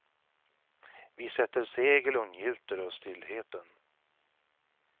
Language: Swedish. Vi sätter segel och njuter av stillheten.